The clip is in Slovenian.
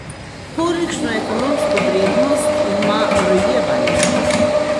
Kolikšno ekonomsko vrednost ima rojevanje?